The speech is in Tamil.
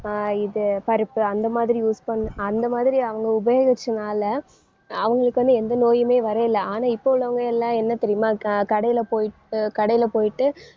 ஆஹ் இது பருப்பு அந்த மாதிரி use பண்~ அந்த மாதிரி அவங்க உபயோகிச்சனால அவங்களுக்கு வந்து எந்த நோயுமே வரேயில. ஆனா இப்ப உள்ளவங்க எல்லாம் என்ன தெரியுமா க~ கடையில போயிட்டு கடையில போயிட்டு